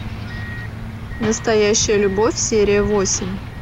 настоящая любовь серия восемь